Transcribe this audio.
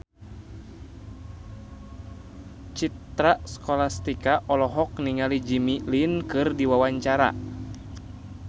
Citra Scholastika olohok ningali Jimmy Lin keur diwawancara